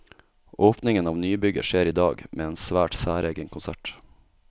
Åpningen av nybygget skjer i dag, med en svært særegen konsert.